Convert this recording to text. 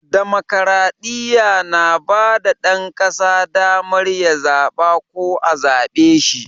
Damokradiyya na ba ɗan ƙasa damar ya zaɓa ko a zaɓe shi.